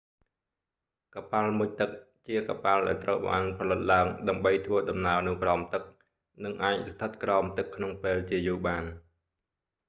កប៉ាល់មុជទឹក ជាកប៉ាល់ដែលត្រូវបានផលិតឡើងដើម្បីធ្វើដំណើរនៅក្រោមទឹក និងអាចស្ថិតក្រោមទឹកក្នុងពេលជាយូរបាន